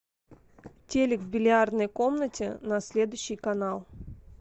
телик в бильярдной комнате на следующий канал